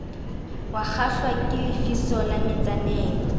wakgahlwa ke lefiso la metsaneng